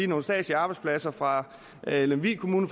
nogle statslige arbejdspladser fra lemvig kommune